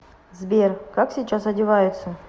сбер как сейчас одеваются